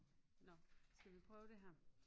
Nåh skal vi prøve det her